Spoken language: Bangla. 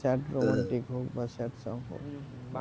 সেট romantic হোকবা স্যাড সং হোক